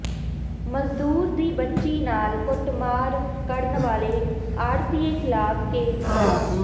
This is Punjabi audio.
ਮਜ਼ਦੂਰ ਦੀ ਬੱਚੀ ਨਾਲ ਕੁੱਟਮਾਰ ਕਰਨ ਵਾਲੇ ਆਡ਼੍ਹਤੀਏ ਖ਼ਿਲਾਫ਼ ਕੇਸ ਦਰਜ